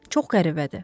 Çox qəribədir.